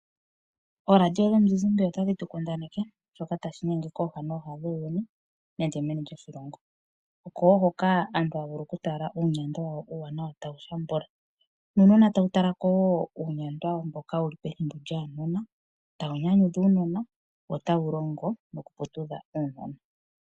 Ooradio dhomuzizimba otadhi tu kundaneke shoka tashi inyenge kooha nooha dhuuyuni nenge meni lyoshilongo. Oko wo hoka aantu haya vulu okutala uunyandwa wawo uuwanawa tawu shambula nuunona tawu tala ko wo uunyandwa mboka wu li pethimbo lyaanona, tawu nyanyudha uunona wo otawu longo nokuputudha uunona.